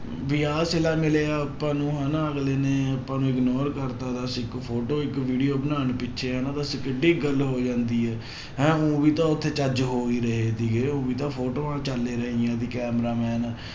ਵੀ ਆਹ ਛਿਲਾ ਮਿਲਿਆ ਆਪਾਂ ਨੂੰ ਹਨਾ ਅਗਲੇ ਨੇ ਆਪਾਂ ਨੂੰ ignore ਕਰ ਦਿੱਤਾ ਦੱਸ ਇੱਕ photo ਇੱਕ video ਬਣਾਉਣ ਪਿੱਛੇ ਹਨਾ ਦੱਸ ਕਿੱਢੀ ਗੱਲ ਹੋ ਜਾਂਦੀ ਹੈ ਹੈਂ ਊਂ ਵੀ ਤਾਂ ਉੱਥੇ ਚੱਜ ਹੋ ਹੀ ਰਹੇ ਸੀਗੇ ਊਂ ਵੀ ਤਾਂ ਫੋਟੋਆਂ ਚੱਲ ਰਹੀਆਂ ਸੀ camera-man